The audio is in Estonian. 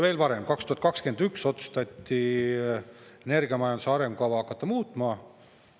Veel varem, 2021 otsustati energiamajanduse arengukava hakata muutma.